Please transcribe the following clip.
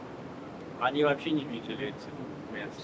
Onlar heç görməyiblər həmin yerləri.